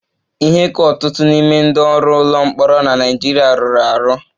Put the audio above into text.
Ihe ka ọtụtụ n'ime ndị ọrụ ụlọ mkpọrọ na Naịjirịa rụrụ arụ